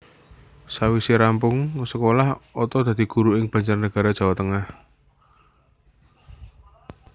Sawise rampung sekolah Oto dadi guru ing Banjarnegara Jawa Tengah